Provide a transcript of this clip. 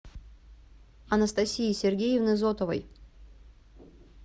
анастасии сергеевны зотовой